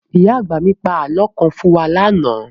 Ìyá àgbà mì pa àlọ́ kan fún wa ní àná